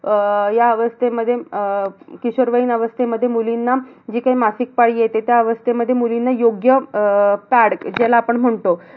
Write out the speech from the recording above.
अह ह्या अवस्थेमध्ये अह किशोरवयीन अवस्थेमध्ये मुलींना जी काही मासिक पाळी येते. त्या अवस्थेमध्ये मुलींना योग्य अह pad ज्याला पण म्हणतो